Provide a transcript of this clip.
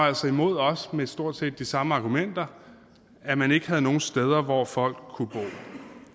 altså imod med stort set de samme argumenter at man ikke havde nogen steder hvor folk kunne bo